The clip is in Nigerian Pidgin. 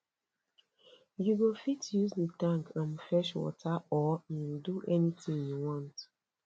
you go fit use the tank um fetch water or um do anything you want